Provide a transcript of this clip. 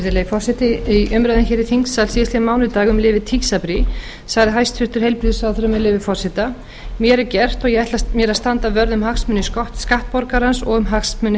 virðulegi forseti í umræðum hér í þingsal síðastliðinn mánudag um lyfið tysabri sagði hæstvirtur heilbrigðisráðherra með leyfi forseta mér er gert og ég ætla mér að standa vörð um hagsmuni skattborgarans og um hagsmuni